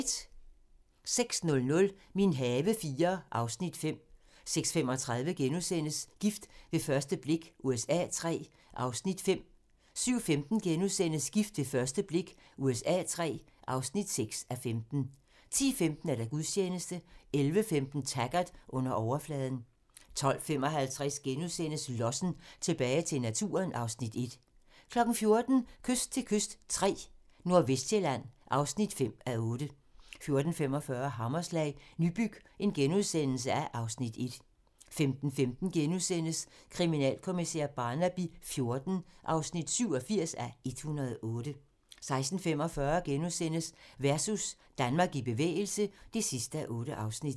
06:00: Min have IV (Afs. 5) 06:35: Gift ved første blik USA III (5:15)* 07:15: Gift ved første blik USA III (6:15)* 10:15: Gudstjeneste 11:15: Taggart: Under overfladen 12:55: Lossen - tilbage til naturen (Afs. 1)* 14:00: Kyst til kyst III - Nordvestsjælland (5:8) 14:45: Hammerslag - Nybyg (Afs. 1)* 15:15: Kriminalkommissær Barnaby XIV (87:108)* 16:45: Versus - Danmark i bevægelse (8:8)*